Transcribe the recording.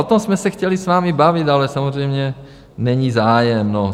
O tom jsme se chtěli s vámi bavit, ale samozřejmě není zájem.